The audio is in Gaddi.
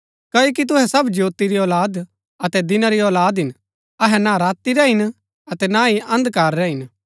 क्ओकि तुहै सब ज्योती री औलाद अतै दिना री औलाद हिन अहै ना राती रै हिन अतै ना ही अन्धकार रै हिन